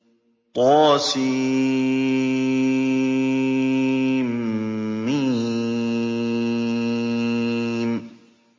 طسم